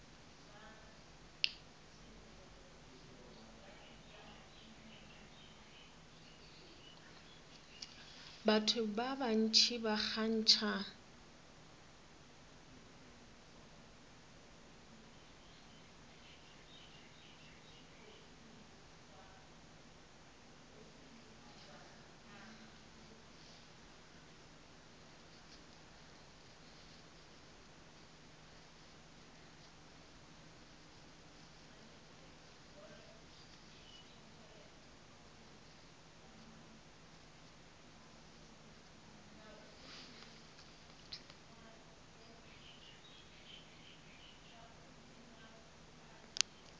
batho ba bantši ba kgantšha